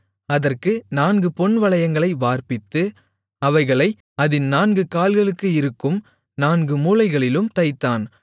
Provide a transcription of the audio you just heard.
அதற்கு நான்கு பொன்வளையங்களை வார்ப்பித்து அவைகளை அதின் நான்கு கால்களுக்கு இருக்கும் நான்கு மூலைகளிலும் தைத்தான்